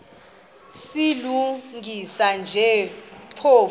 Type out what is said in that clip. silungisa nje phofu